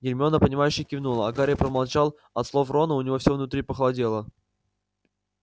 гермиона понимающе кивнула а гарри промолчал от слов рона у него все внутри похолодело